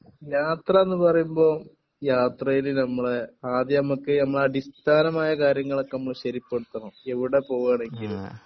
യാത്രാന്ന് പറയുമ്പോ യാത്രെൽ നമ്മുടെ ആദ്യം നമ്മുക് നമ്മുടെ അടിസ്ഥാനമായ കാര്യങ്ങൾ ഒക്കെ നമ്മൾ ശ്ശെരിപ്പെടുത്തണം എവിടെ പോവേണെകിലും